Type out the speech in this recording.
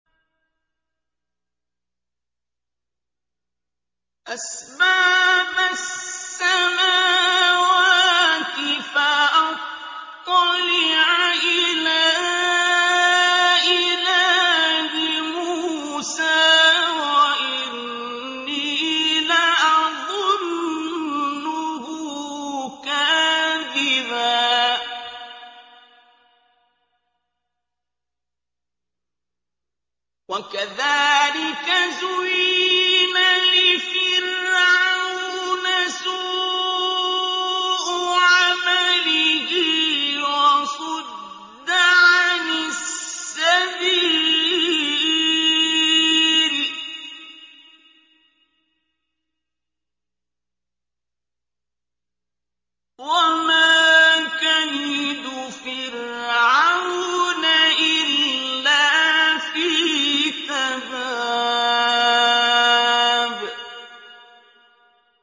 أَسْبَابَ السَّمَاوَاتِ فَأَطَّلِعَ إِلَىٰ إِلَٰهِ مُوسَىٰ وَإِنِّي لَأَظُنُّهُ كَاذِبًا ۚ وَكَذَٰلِكَ زُيِّنَ لِفِرْعَوْنَ سُوءُ عَمَلِهِ وَصُدَّ عَنِ السَّبِيلِ ۚ وَمَا كَيْدُ فِرْعَوْنَ إِلَّا فِي تَبَابٍ